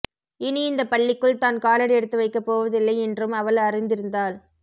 இனி இந்தப் பள்ளிக்குள் தான் காலடி எடுத்து வைக்கப் போவதில்லை என்றும் அவள் அறிந்திருந்தாள்